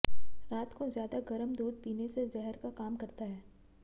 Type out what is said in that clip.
रात को ज्यादा गरम दूध पीने से जहर का काम करता है